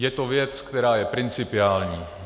Je to věc, která je principiální.